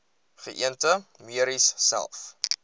geënte merries selfs